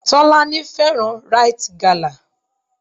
Tọ́lání fẹ́ràn Rite gala.